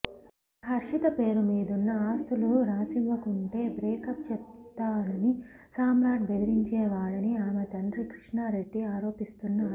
ఇక హర్షిత పేరుమీదున్న ఆస్తులు రాసివ్వకుంటే బ్రేకప్ చెప్తానని సామ్రాట్ బెదిరించేవాడని ఆమె తండ్రి కృష్ణా రెడ్డి ఆరోపిస్తున్నారు